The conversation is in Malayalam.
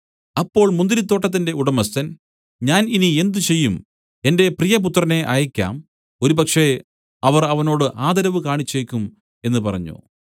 അപ്പോൾ മുന്തിരിത്തോട്ടത്തിന്റെ ഉടമസ്ഥൻ ഞാൻ ഇനി എന്ത് ചെയ്യും എന്റെ പ്രിയപുത്രനെ അയയ്ക്കാം ഒരുപക്ഷേ അവർ അവനോട് ആദരവ് കാണിച്ചേക്കും എന്നു പറഞ്ഞു